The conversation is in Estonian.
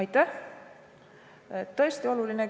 Aitäh!